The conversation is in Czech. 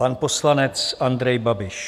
Pan poslanec Andrej Babiš.